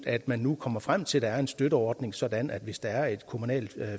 at man nu kommer frem til at der er en støtteordning sådan at hvis der er et kommunalt